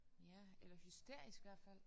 Ja eller hysterisk hvert fald